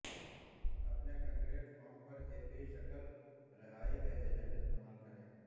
اپنے concrete form پر ایک ہی شکل رہائی کا ایجنٹ استعمال کریں